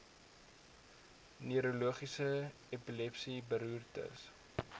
neurologies epilepsie beroerte